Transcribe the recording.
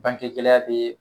Banke gɛlɛya bɛ